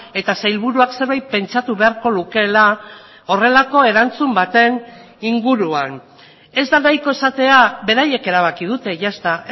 eta sailburuak zerbait pentsatu beharko lukeela horrelako erantzun baten inguruan ez da nahiko esatea beraiek erabaki dute ya está